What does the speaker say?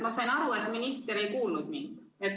Ma sain aru, et minister ei kuulnud mind.